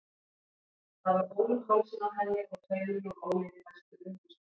Það var ól um hálsinn á henni og taumur úr ólinni festur við húsvegg.